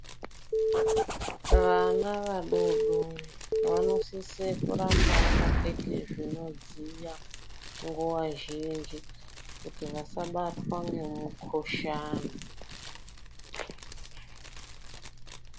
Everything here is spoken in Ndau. Vana vadodori vanosise kuramba vakapfeke zvinodziya nguva zhinji, kuti vasabatwa ngemuhlani.